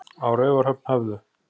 Á Raufarhöfn höfðu